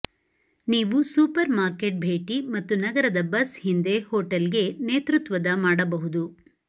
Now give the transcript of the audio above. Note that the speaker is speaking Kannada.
ನೀವು ಸೂಪರ್ ಮಾರ್ಕೆಟ್ ಭೇಟಿ ಮತ್ತು ನಗರದ ಬಸ್ ಹಿಂದೆ ಹೋಟೆಲ್ಗೆ ನೇತೃತ್ವದ ಮಾಡಬಹುದು